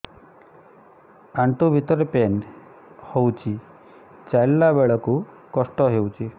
ଆଣ୍ଠୁ ଭିତରେ ପେନ୍ ହଉଚି ଚାଲିଲା ବେଳକୁ କଷ୍ଟ ହଉଚି